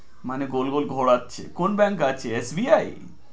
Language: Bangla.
মানে গোল গোল ঘোরাচ্ছে কোন Bank আছে SBI